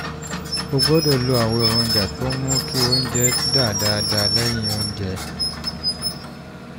o gbọ́dọ̀ lo àwọn èròjà tó ń mú kí oúnjẹ dà dáadáa lẹ́yìn oúnjẹ